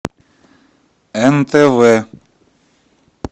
нтв